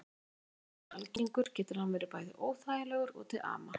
Þótt vindgangur sé algengur getur hann verið bæði óþægilegur og til ama.